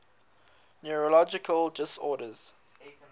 neurological disorders